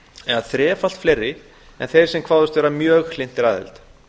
eða þrefalt fleiri en þeir sem kváðust mjög hlynntir aðild